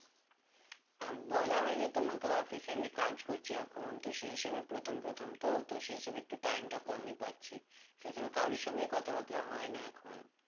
বলা হয়নি তোমাকে office এ আমি কাজ করছি এখন তো সে হিসেবে প্রথম প্রথম তো তো সেই হিসেবে একটু time টা কমই পাচ্ছি সে হিসেবে কারো সঙ্গে এই কথাবাত্রা হয় না এখন